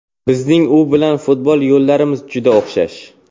Bizning u bilan futbol yo‘llarimiz juda o‘xshash.